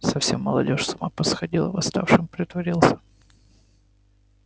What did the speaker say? совсем молодёжь с ума посходила восставшим притворился